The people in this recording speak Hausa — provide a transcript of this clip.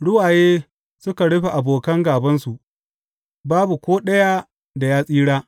Ruwaye suka rufe abokan gābansu; babu ko ɗaya da ya tsira.